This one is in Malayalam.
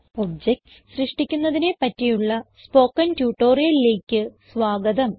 objectsസൃഷ്ടിക്കുന്നതിനെ പറ്റിയുള്ള സ്പോകെൻ ട്യൂട്ടോറിയലിലേക്ക് സ്വാഗതം